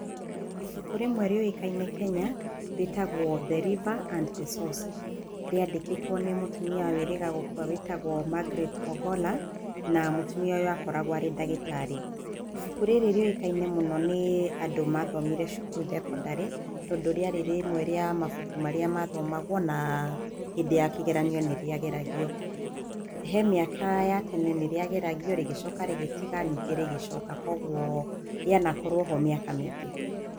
Ibuku rĩmwe rĩũĩkaine kenya rĩtagwo The River and The Source rĩandĩkĩtwo nĩ mũtumia wĩrĩga gũkua wĩtagwo Margaret Ogolla na mũtumia ũyũ akoragwo arĩ ndagĩtarĩ, ibuku rĩrĩ rĩũĩkaine mũno nĩ andũ mathomire cukuru thekondarĩ tondũ rĩarĩ rĩmwe rĩa mabuku marĩa mathomagwo na hĩndĩ ya kĩgeranio nírĩageragio, he mĩaka ya tene nĩrĩageragio ningĩ rĩgĩcoka rĩgĩtiga ningĩ rĩgĩcoka kwoguo rĩanakorwo ho mĩaka mĩingĩ.